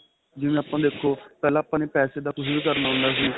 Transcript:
ਜਿਵੇਂ ਆਪਾਂ ਦੇਖੋ ਪਹਿਲਾਂ ਆਪਾਂ ਨੇ ਪੈਸੇ ਦਾ ਕੁੱਝ ਵੀ ਕਰਨਾ ਹੁੰਦਾ ਸੀ